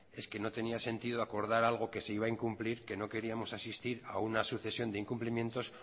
es que no tenía sentido acordar algo que se iba a incumplir que no queríamos asistir a una sucesión de incumplimientos